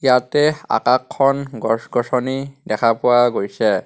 ইয়াতে আকাশ খন গছ গছনি দেখা পোৱা গৈছে.